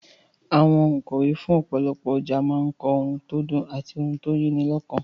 Àwọn ònkọ̀wé fún ìpolówó ọjà a máa kọ òun tó dùn àti òun tó yí ni lọ́kàn